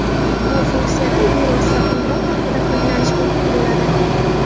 Bu funksiyadan bevosita qo‘ng‘iroq vaqtida foydalanish mumkin bo‘ladi.